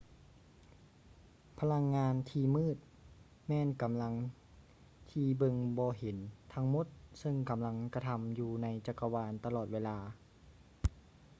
ພະລັງງານທີ່ມືດແມ່ນກຳລັງທີ່ເບິ່ງບໍ່ເຫັນທັງໝົດເຊິ່ງກຳລັງກະທໍາຢູ່ໃນຈັກກະວານຕະຫຼອດເວລາ